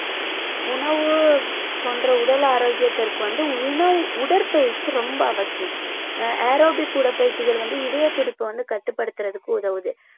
உணவு போன்ற உடல் ஆரோக்கியத்திற்கு வந்து உண~ உடற்பயிற்சி ரொம்ப அவசியம் ஆஹ் aerobic உடற்பயிற்சிகள் வந்து இதயத்துடிப்பை வந்து கட்டுப்படுத்துறதுக்கு உதவுது